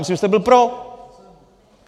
Myslím, že jste byl pro.